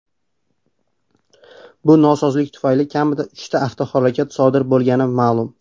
Bu nosozlik tufayli kamida uchta avtohalokat sodir bo‘lgani ma’lum.